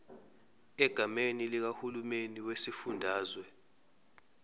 egameni likahulumeni wesifundazwe